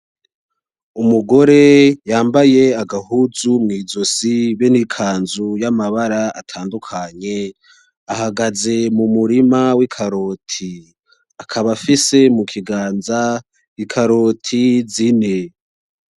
Umugore yambaye agahuzu mw'izosi be n'ikanzu yamabara atandukanye ahagaze mumurima w'ikaroti akaba afise mukiganza ikaroti zine.